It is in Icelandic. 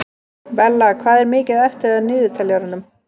Bella, hvað er mikið eftir af niðurteljaranum?